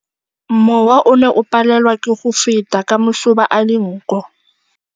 Mowa o ne o palelwa ke go feta ka masoba a dinko.